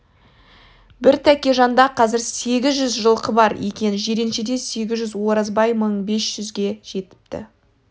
бір тәкежанда қазір сегіз жүз жылқы бар екен жиреншеде сегіз жүз оразбай мың бес жүзге жеткізіпті